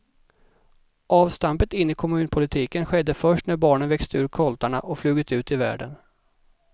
Avstampet in i kommunpolitiken skedde först när barnen växt ur koltarna och flugit ut i världen.